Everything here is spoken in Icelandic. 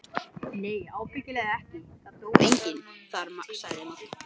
Nei ábyggilega ekki, það dó enginn þar sagði Magga.